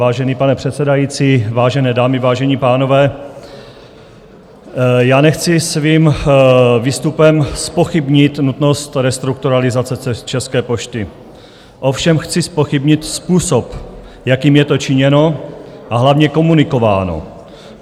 Vážený pane předsedající, vážené dámy, vážení pánové, já nechci svým výstupem zpochybnit nutnost restrukturalizace České pošty, ovšem chci zpochybnit způsob, jakým je to činěno a hlavně komunikováno.